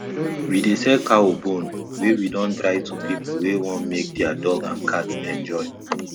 we dey sell cow bone wey we don dry to pipu wey wan make their dog and cat enjoy